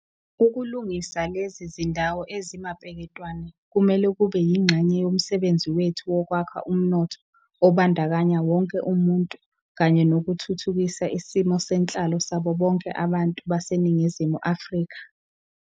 Ukulungisa lezi zindawo ezimapeketwane kumele kube yingxenye yomsebenzi wethu wokwakha umnotho obandakanya wonke umuntu kanye nokuthuthukisa isimo senhlalo sabo bonke abantu baseNingizimu Afrika.